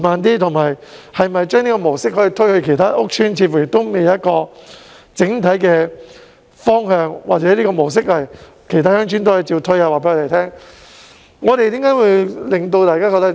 至於可否把這個模式推展至其他鄉村，似乎仍未有整體的方向，請局長告訴我們，這個模式可否在其他鄉村推行呢。